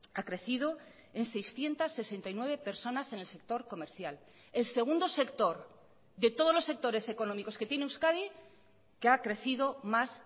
ha crecido en seiscientos sesenta y nueve personas en el sector comercial el segundo sector de todos los sectores económicos que tiene euskadi que ha crecido más